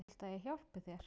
Viltu að ég hjálpi þér?